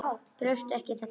Brosti ekki í þetta skipti.